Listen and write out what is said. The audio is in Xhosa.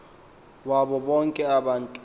wabo bonke abantu